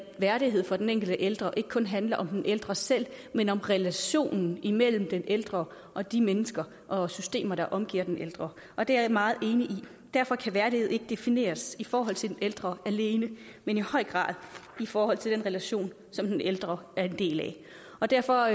værdighed for den enkelte ældre ikke kun handler om den ældre selv men om relationen imellem den ældre og de mennesker og systemer der omgiver den ældre og det er jeg meget enig i derfor kan værdighed ikke defineres i forhold til den ældre alene men i høj grad i forhold til de relationer som den ældre er en del af og derfor